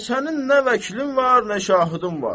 Bəs sənin nə vəkilin var, nə şahidin var?